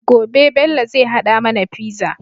Gobe Bello zai hada mAna pizza